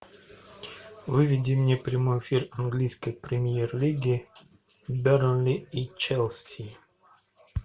выведи мне прямой эфир английской премьер лиги бернли и челси